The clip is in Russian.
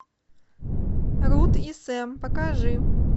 руд и сэм покажи